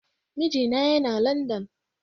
Mijina Yana London.